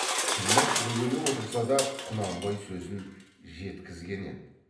тілмәш бөгеле отырса да құнанбай сөзін жеткізген еді